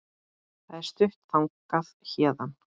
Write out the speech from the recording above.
Það er stutt þangað héðan.